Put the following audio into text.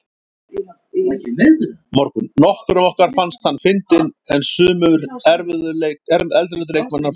Nokkrum okkar fannst hann fyndinn en sumir erlendu leikmannanna fannst hann.